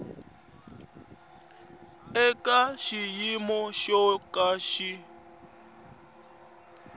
eka xiyimo xo ka xi